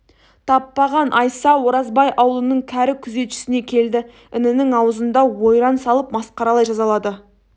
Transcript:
таппаған айса оразбай аулының кәрі күзетшісіне келді інінің аузында ойран салып масқаралай жазалады